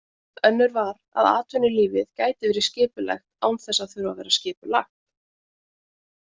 Önnur var, að atvinnulífið gæti verið skipulegt án þess að þurfa að vera skipulagt.